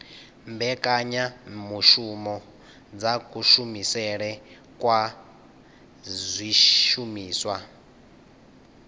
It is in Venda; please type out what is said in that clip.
mbekanyamushumo dza kushumisele kwa zwishumiswa